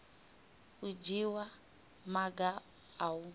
u dzhiwa maga a u